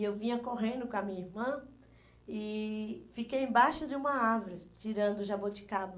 E eu vinha correndo com a minha irmã e fiquei embaixo de uma árvore, tirando o jaboticaba.